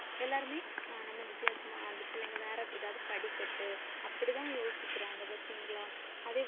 எல்லாருமே அஹ் நம்ம வித்தியாசமா அந்தப் பிள்ளைங்க வேற ஏதாவது படிக்கட்டு அப்படிதான் யோசிக்கிறாங்க பார்த்தீங்களா? அதே